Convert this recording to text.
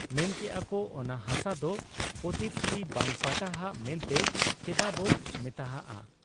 ᱢᱮᱱᱠᱮᱜ ᱟ ᱠᱚ ᱚᱱᱟ ᱦᱟᱥᱟ ᱫᱚ ᱯᱚᱛᱤᱛ ᱪᱤ ᱵᱟᱝ ᱯᱟᱴᱟᱦᱟᱜ ᱢᱮᱱᱛᱮ ᱪᱮᱫᱟᱜ ᱵᱚ ᱢᱮᱛᱟᱜᱟᱜ ᱟ ?